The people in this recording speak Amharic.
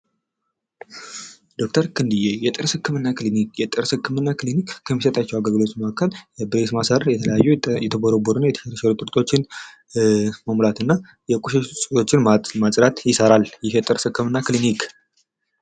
ዶክተር ክንድዬ የጥርስ ህክምና ክሊኒክ ፦ የጥርስ ህክምና ክሊኒክ ከሚሰጣቸው አገልግሎቶች መካከል ብሬስ ማሰር ፣ የተቦረቦረ እና የተፈለፈዘ ጥርሶችን መሙላት እና የቆሸሹ ጥርሶችን ማጽዳት ይሰራል ይህ የጥርስ ህክምና ክሊኒክ ።